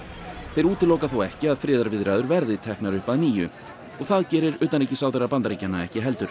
þeir útiloka þó ekki að friðarviðræður verði teknar upp að nýju og það gerir utanríkisráðherra Bandaríkjanna ekki heldur